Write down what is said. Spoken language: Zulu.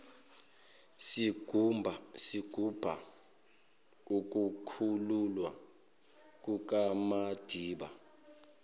sigubha ukukhululwa kukamadiba